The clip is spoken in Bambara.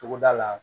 Togoda la